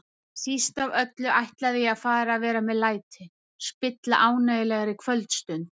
Síst af öllu ætlaði ég að fara að vera með læti, spilla ánægjulegri kvöldstund.